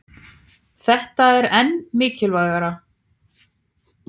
Þetta er enn mikilvægara